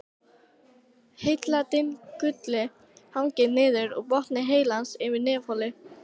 Heiladingullinn hangir niður úr botni heilans yfir nefholi.